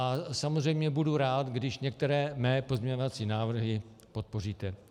A samozřejmě budu rád, když některé mé pozměňovací návrhy podpoříte.